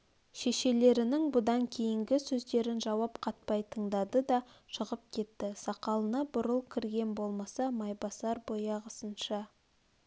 шешелернің бұдан кейінгі сөздерін жауап қатпай тыңдады да шығып кетті сақалына бурыл кірген болмаса майбасар баяғысынша